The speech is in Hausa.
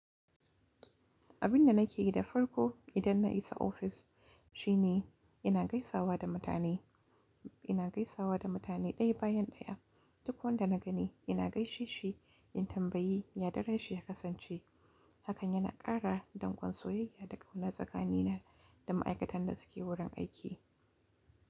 Abin da nake yi da farko idan na isa ofis shine ina gaisawa da mutane, ina gaisawa da mutane ɗaya bayan ɗaya. Duk wanda na gani ina gaishe shi in tambayi ya daren shi ya kasance. Hakan yana ƙara dangon soyayya da ƙauna tsakanina da ma'aikatan da suke wurin aiki.